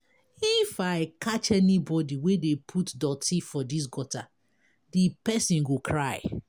If I catch anybody wey dey put dirty for dis gutter, the person go cry.